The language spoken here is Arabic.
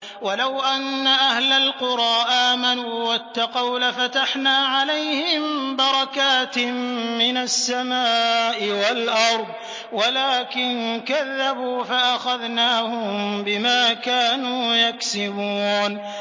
وَلَوْ أَنَّ أَهْلَ الْقُرَىٰ آمَنُوا وَاتَّقَوْا لَفَتَحْنَا عَلَيْهِم بَرَكَاتٍ مِّنَ السَّمَاءِ وَالْأَرْضِ وَلَٰكِن كَذَّبُوا فَأَخَذْنَاهُم بِمَا كَانُوا يَكْسِبُونَ